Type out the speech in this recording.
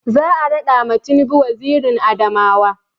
Za a raɗa ma tinubu wazirin Adamawa